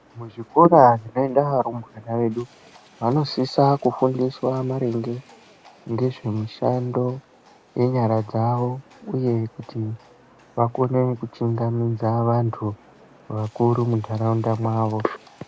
Muzvikora zvinoenda varumbwana vedu ,vanosisa kufundiswa maringe ngezvemishando yenyara dzawo, uye kuti vakone kuchingamidza vanthu vakuru muntharaunda mwawo.